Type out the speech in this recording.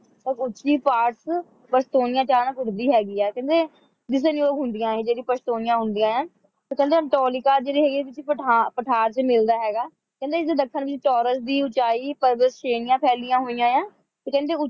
ਉੱਚੀ ਪਹਾੜ ਚ ਪਸ਼ਤੂਨੀਆ ਟਾਂਕ ਉੱਠਦੀ ਹੈ ਕਹਿੰਦੇ ਦਿਸਣਯੋਗ ਹੁੰਦੀਆਂ ਨੇ ਇਹ ਜਿਹੜੀ ਪਸ਼ਤੂਨੀਆ ਹੁੰਦੀਆਂ ਹੈਂ ਕਹਿੰਦੇ ਏੰਟੋਲਿਕਾ ਜਿਹੜੀ ਹੈਗੀ ਹੈ ਜਿਹੜੇ ਪਠਾਰ ਵਿੱਚ ਮਿਲਦਾ ਹੈਗਾ ਹੈ ਕਹਿੰਦੇ ਇਸਦੇ ਦੱਖਣ ਵਿੱਚ ਟੌਰਸ ਦੀ ਉਚਾਈ ਪ੍ਰਵਤ ਸ਼੍ਰੇਣੀਆਂ ਫੈਲੀਆਂ ਹੋਈਆਂ ਹੈ ਤੇ ਕਹਿੰਦੇ